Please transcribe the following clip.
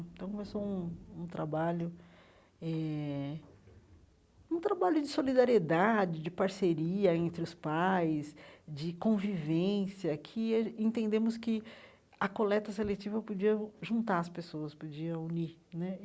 Então, começou um um trabalho eh um trabalho de solidariedade, de parceria entre os pais, de convivência, que a entendemos que a coleta seletiva podia ju juntar as pessoas, podia unir né.